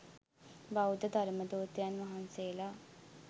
බෞද්ධ ධර්මදූතයන් වහන්සේලා